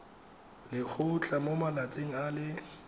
lekgotlha mo malatsing a le